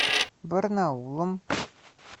барнаулом